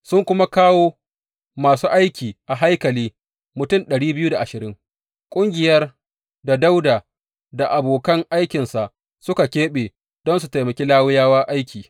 Sun kuma kawo masu aiki a haikali mutum ƙungiyar da Dawuda da abokan aikinsa suka keɓe don su taimaki Lawiyawa aiki.